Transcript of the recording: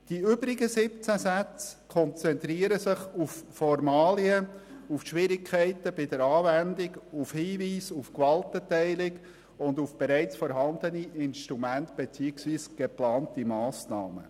Die übrigen 17 Sätze konzentrieren sich auf Formalia, die Schwierigkeiten bei der Anwendung, auf Hinweise auf die Gewaltenteilung sowie auf bereits vorhandene Instrumente beziehungsweise geplante Massnahmen.